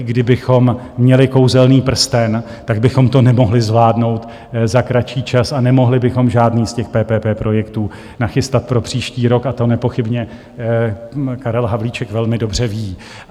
I kdybychom měli kouzelný prsten, tak bychom to nemohli zvládnout za kratší čas a nemohli bychom žádný z těch PPP projektů nachystat pro příští rok, a to nepochybně Karel Havlíček velmi dobře ví.